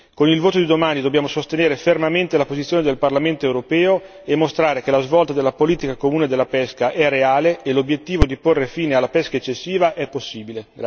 Con il voto di domani dobbiamo sostenere fermamente la posizione del Paramento europeo e mostrare che la svolta della politica comune della pesca è reale e l'obiettivo di porre fine alla pesca eccessiva è possibile.